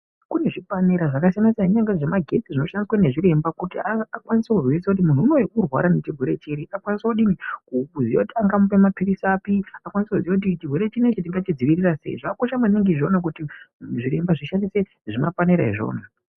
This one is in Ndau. Kune zvipanera zvakasiyana-siyana kunyangwe zvemagetsi zvinoshandiswe nezviremba kuti akwanise kuzivisa kuti munhu unowu uri kurwara nechirwere chiri. Akwinise kudii, kuziya kuti angamupe mapirisi api. Akwanise kuziya kuti chirwere chinechi tingachidzivirira sei. Zvakakosha maningi izvona kuti zviremba zvishandise zvimapanera izvona.